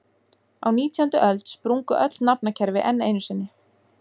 Á nítjándu öld sprungu öll nafnakerfi enn einu sinni.